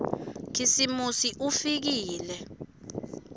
khisimusi ufikile